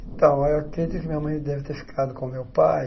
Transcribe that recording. Então, eu acredito que minha mãe deve ter ficado com o meu pai,